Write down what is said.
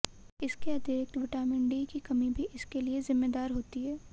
इसके अतिरिक्त vitamin D की कमी भी इसके लिए जिम्मेदार होती है